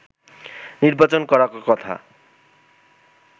নির্বাচন করার কথা